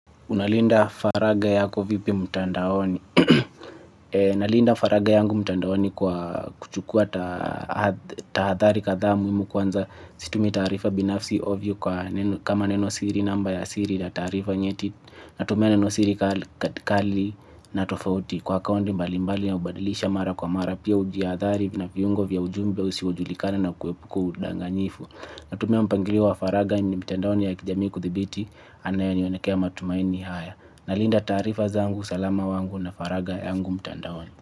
Unalinda faragha yako vipi mtandaoni. Nalinda faragha yangu mtandaoni kwa kuchukua tahadhari kadhaa muhimu kwanza situmi taarifa binafsi ovyo kama neno siri namba ya siri na taarifa nyeti. Natumia neno siri kali na tofauti kwa akaunti mbali mbali ya hubadilisha mara kwa mara pia ujiadhari na viungo vya ujumbe ya visivyojulikana na kuepuka udanganyifu. Natumia mpangilio faragha ni mitandaoni ya kijami kudhibiti anayeniwanekea matumaini haya. Nalinda taarifa zangu, usalama wangu na faragha yangu mtandaoni.